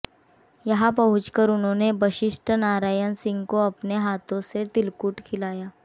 यहां पहुंचकर उन्होंने बशिष्ट नारायण सिंह को अपने हाथों से तिलकुट खिलाया